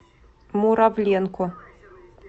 муравленко